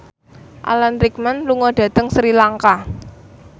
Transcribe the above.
Alan Rickman lunga dhateng Sri Lanka